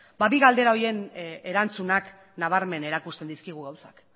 bi galdera horien erantzunak nabarmen erakusten dizkigu gauzak